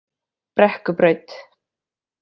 Brekkubraut